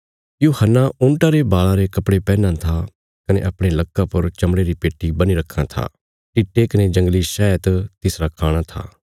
यूहन्ना ऊँटा रे बाल़ां रे कपड़े पैहनां था कने अपणे लक्का पर चमड़े री पेट्टी बन्ही रखां था टिट्टे कने जंगली शैहत तिसरा खाणा था